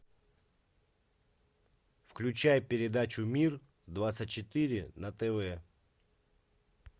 включай передачу мир двадцать четыре на тв